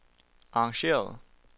arrangeret